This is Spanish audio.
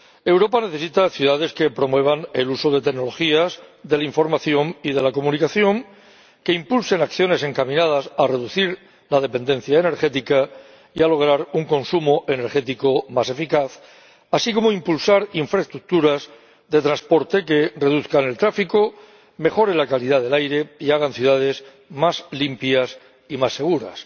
Europa necesita ciudades que promuevan el uso de tecnologías de la información y de la comunicación, y que impulsen acciones encaminadas a reducir la dependencia energética y a lograr un consumo energético más eficaz, así como a impulsar infraestructuras de transporte que reduzcan el tráfico, mejoren la calidad del aire y hagan ciudades más limpias y más seguras.